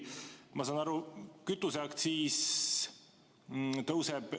Ma saan aru, et kütuseaktsiis tõuseb.